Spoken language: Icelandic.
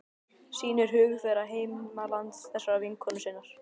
Sýnir hug þeirra til heimalands þessarar vinkonu sinnar.